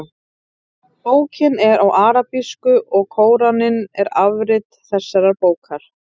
Bókin er á arabísku og Kóraninn er afrit þessarar bókar.